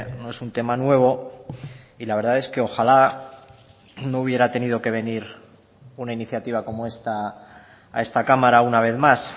no es un tema nuevo y la verdad es que ojala no hubiera tenido que venir una iniciativa como esta a esta cámara una vez más